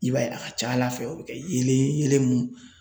I b'a ye a ka ca Ala fɛ o bɛ kɛ yelen ye yelen mun